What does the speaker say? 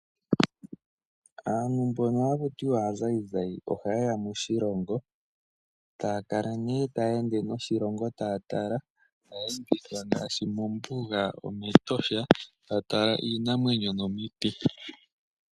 Aantu mbono haku tiwa aazayizayi, ohaye ya moshilongo, taya kale nee taya ende noshilongo taya tala ngaashi kombuga nometosha taya tala iinamwenyo nomiti.